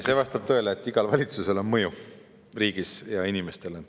See vastab tõele, et igal valitsusel igas riigis on mõju inimestele.